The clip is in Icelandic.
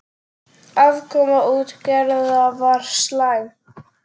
Afkoma útgerða var slæm.